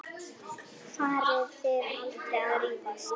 Farið þið aldrei að rífast?